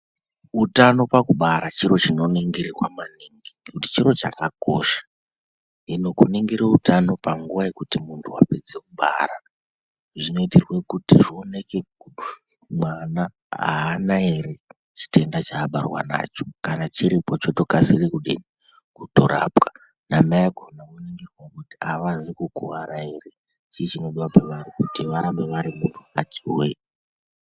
Utano pakubara chiro chinoningirwa maningi ngokuti chiro chakosha. Hino kuningira utano panguwa yekuti munthu wapedza kubara, zvinoitirwe kuti zvioneke mwana haana ere chitenda chaabarwa nacho kana chiripo chotokasira kudii kutorapwa. Namai akona kuti havazi kukuwara ere chii chinodiwa pavari kuti varambe vari munthu akati hwee.